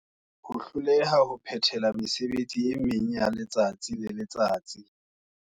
Ho hloleha ho phethela mesebetsi e meng ya letsatsi le letsatsi.